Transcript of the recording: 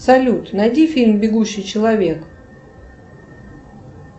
салют найди фильм бегущий человек